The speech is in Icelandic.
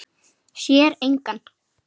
Sér engan.